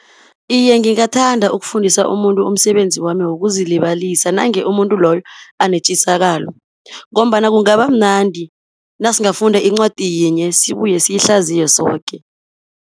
Iye ngingathanda ukufundisa umuntu umsebenzi wami wokuzilibazisa, nange umuntu loyo anetjisakalo, ngombana kungaba mnandi nasingafunda incwadi yinye, sibuye siyihlaziye soke.